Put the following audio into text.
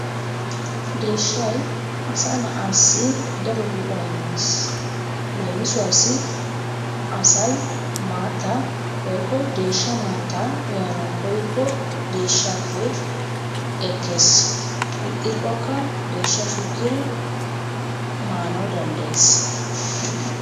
Deeshshay asaa na'aassi ddaro go''a immees. leemisuwassi asay maata woykko deeshsha maata uyyanaw koyyikko deeshshappe ekkees. ixxikkoka deeshshaa shukkiri maanaw danddayees.